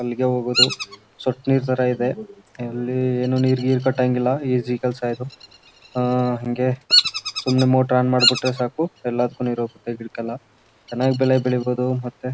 ಅಲ್ಲಿಗೆ ಹೋಗೋದು ಥರ ಇದೆ ಅಲ್ಲಿ ನೀರ್ಗೀರ್ ಕಟ್ಟಂಗಿಲ್ಲ ಇಲ್ಲ ಈಜಿ ಕೆಲ್ಸ ಇದು ಹಂಗೆ ಸುಮ್ನೆ ಮೋಟರ್ ಆನ್ ಮಾಡ್ಬಿಟ್ರೆ ಸಾಕು ಎಲ್ಲದಕ್ಕು ನೀರ್ ಹೋಗತ್ತೆ ಗಿಡಕ್ಕೆಲ್ಲ ಚೆನ್ನಾಗಿ ಬೆಳೆ ಬೆಳೀಬಹುದು ಮತ್ತೆ--